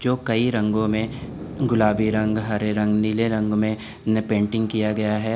जो कई रंगों में गुलाबी रंग हरे रंग नीले रंगों में इन्हें पेंटिंग किया गया है।